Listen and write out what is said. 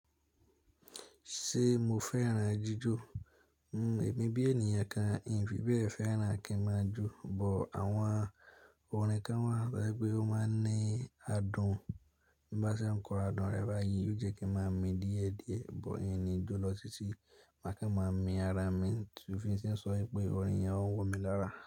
Ṣé mo fẹ́ràn jíjó? Èmi bí ènìyàn kan, n fí bẹ̀ fẹ́ràn kí máa jó, but àwọn orin kan wà tó jẹ́ pé ó máa ń ní adùn bi bá ṣe ń kọ orin adùn rẹ báyìí yóò jẹ́ kí n máa mi díẹ̀díẹ̀, but hìn ni jó lọ títí má kí n máa mi ara mi. Tòfin sì ń sọ wípé orin yẹn ń wò mí lára.